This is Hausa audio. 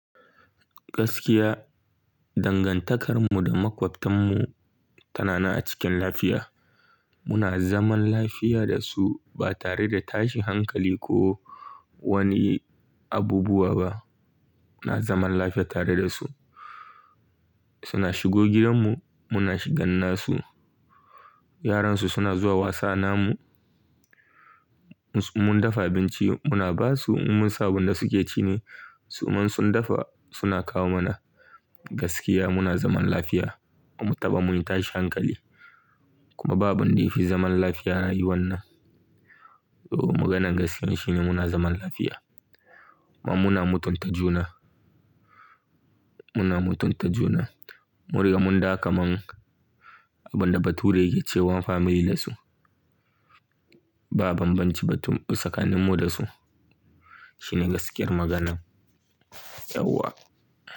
Gaskiya dangantakarmu da makwabtanmu tana na a cikin lafiya. Muna zaman lafiya da su ba tare da tashi hankali ko wani abubuwa ba. Muna zaman lafiya tare da su. Suna shigo gidanmu, muna shiga gidan su. Yaran su suna zuwa wasana mu. Mun dafa abinci muna basu in mun samu abun da suke ci ne. Su man sun dafa suna kawo mana. Gaskiya muna zaman lafiya ba mu taɓa mun tashi hankali kuma babu wanda yafi zaman lafiya rayuwan nan. Ooh, maganan gaskiya shine muna zaman lafiya kuma muna mutunta juna. Muna mutunta juna. Mun gan mun gam kaman abunda baturi yake cewan family da su. Ba banbanci ba sakannin mu da su. Shine gaskiyar maganan yauwa.